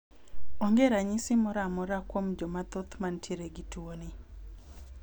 Onge ranyisi moro amora kuom Joma thoth mantiere gi tuoni